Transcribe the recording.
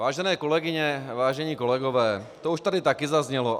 Vážené kolegyně, vážení kolegové, už to tady taky zaznělo.